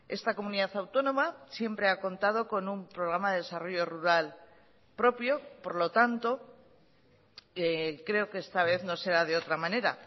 esta comunidad autónoma siempre ha contado con un programa de desarrollo rural propio por lo tanto creo que esta vez no será de otra manera